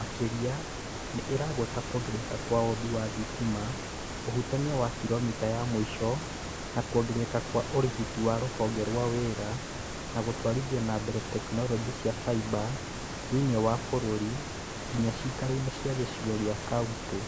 Makĩria, nĩ ĩragweta kwongerereka kwa ũũmbi wa thitima, ũhutania wa kilomita ya mũico, na kuongerereka kwa ũrigiti wa Rũhonge rwa wĩra wa gũtwarithia na mbere tekinoronjĩ cia faiba thĩinĩ wa bũrũri, nginya ciikaro-inĩ cia gĩcigo kĩa kaũnti.